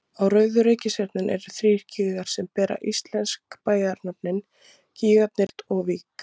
Á rauðu reikistjörnunni eru þrír gígar sem bera íslensk bæjarnöfn, gígarnir Grindavík, Reykholt og Vík.